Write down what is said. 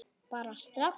Bara strax.